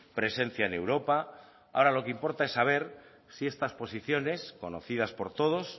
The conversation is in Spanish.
presencia en europa ahora lo que importa es saber si estas posiciones conocidas por todos